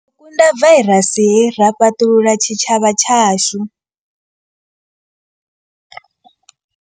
Ri ḓo kunda vairasi hei ra fhaṱulula tshitshavha tshashu.